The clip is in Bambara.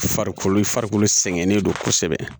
Farikolo farikolo sɛgɛnnen don kosɛbɛ